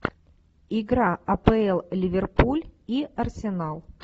игра апл ливерпуль и арсенал